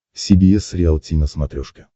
си би эс риалти на смотрешке